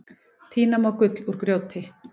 Tína má gull úr grjóti.